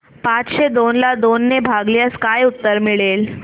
पाचशे दोन ला दोन ने भागल्यास काय उत्तर मिळेल